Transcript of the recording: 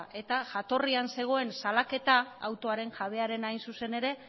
eta jatorrian zegoen salaketa autoaren jabearena hain zuzen ere